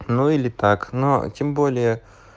ну или так но тем более